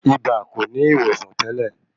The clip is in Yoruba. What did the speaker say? Ibà kò ní ìwòsàn tẹ́lẹ̀.